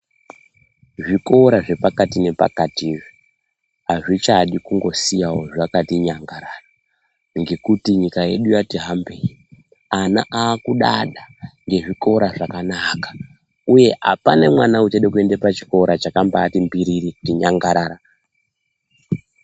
Zvikora zvepakati nepakati izvi azvichangodi kusiya zvakati nyangarara ngekuti nyika yedu yati hambei ana akudada ngezvikora zvakanaka uye apana mwana achada kuenda pachikora chakabati mbiriri kuti nyangarara.